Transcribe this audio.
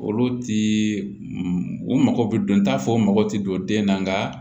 Olu ti u mago bɛ don t'a fɔ u mago ti don den na nka